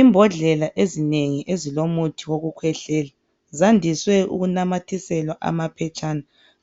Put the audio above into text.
Imbodlela ezinengi ezilomuthi wokukhwehlela. Zandiswe ukunamathiselwa amaphetshana.